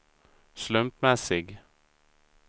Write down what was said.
slumpmässig